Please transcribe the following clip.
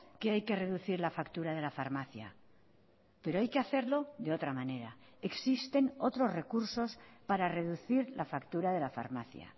que hay que reducir la factura de la farmacia pero hay que hacerlo de otra manera existen otros recursos para reducir la factura de la farmacia